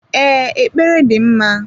Ee, ekpere dị mma.